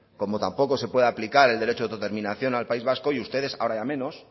como tampoco se puede aplicar el derecho de autodeterminación al país vasco y ustedes ahora ya menos